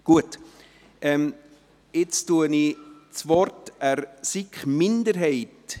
Nun erteile ich das Wort der SiK-Minderheit.